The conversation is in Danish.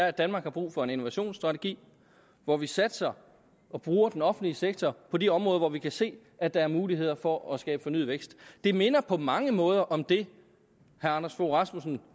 at danmark har brug for en innovationsstrategi hvor vi satser og bruger den offentlige sektor på de områder hvor vi kan se at der er muligheder for at skabe fornyet vækst det minder på mange måder om det herre anders fogh rasmussen